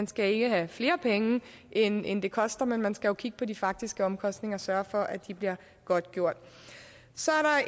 skal ikke have flere penge end end det koster man skal jo kigge på de faktiske omkostninger og sørge for at de bliver godtgjort så